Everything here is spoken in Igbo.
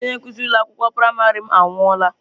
Otu onye nkuzi ụlọ akwụkwọ praịmarị m anwụọla.